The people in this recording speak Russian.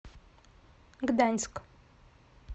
гданьск